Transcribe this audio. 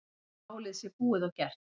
Málið sé búið og gert.